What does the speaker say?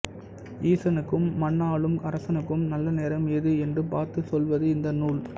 ஈசனுக்கும் மண்ணாளும் அரசனுக்கும் நல்லநேரம் எது என்று பார்த்துச் சொல்வது இந்த நூல்